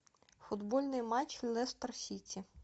футбольный матч лестер сити